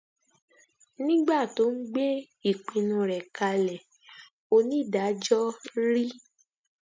nígbà tó ń gbé ìpinnu rẹ kalẹ onídàájọ r